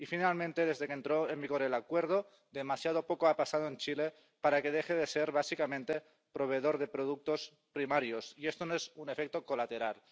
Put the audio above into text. Y, finalmente, desde que entró en vigor el Acuerdo demasiado poco ha pasado en Chile para que deje de ser básicamente proveedor de productos primarios, y esto no es un efecto colateral.